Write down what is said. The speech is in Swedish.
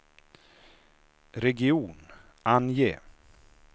region, ange